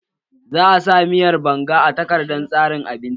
Za a sa miyan banga a takardar tsarin abinci